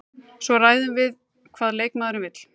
Svo ræðum við hvað leikmaðurinn vill.